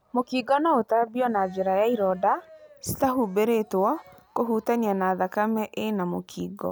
Mũkingo no ũtambio na njĩra ya ironda citahumbĩrĩtwo kũhutania na thakame ĩna mũkingo.